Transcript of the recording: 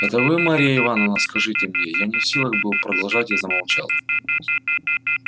это вы марья ивановна скажите мне я не в силах был продолжать и замолчал